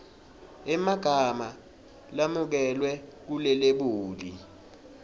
emagama lamukelwe kulelebuli